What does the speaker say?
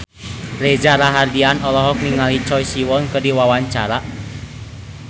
Reza Rahardian olohok ningali Choi Siwon keur diwawancara